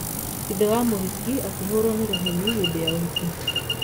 Ithe wa mũhiki akĩhũrwo nĩ rũheni hĩndĩ ya ũhiki